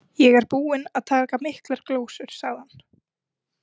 Ég er búinn að taka miklar glósur, sagði hann.